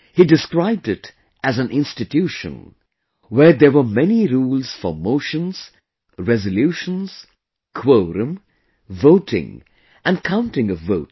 He described it as an institution where there were many rules for Motions, Resolutions, Quorum, Voting and counting of votes